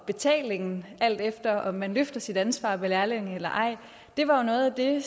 betalingen alt efter om man løfter sit ansvar med lærlinge eller ej det var noget af det